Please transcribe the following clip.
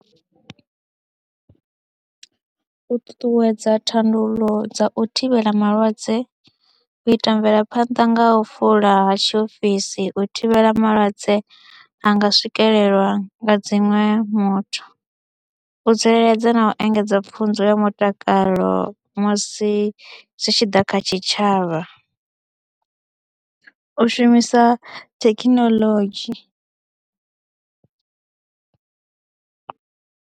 U ṱuṱuwedza thandululo dza u thivhela malwadze, u ita mvelaphanḓa nga u fula ha tshiofisi u thivhela malwadze a nga swikelelwa nga dziṅwe muthu, u tsireledza na u engedza pfhunzo ya mutakalo musi zwi tshi ḓa kha tshitshavha, u shumisa thekhinolodzhi.